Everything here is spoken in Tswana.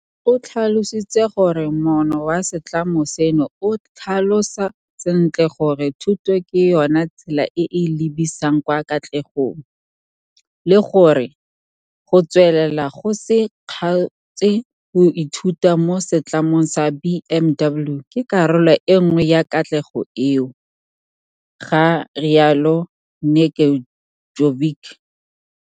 O tlhalositse gore moono wa setlamo seno o tlhalosa sentle gore thuto ke yona tsela e e lebisang kwa katlegong, le gore go tswelela go se kgaotse go ithuta mo Setlamong sa BMW ke karolo e nngwe ya katlego eo, ga rialo Nedeljkovic.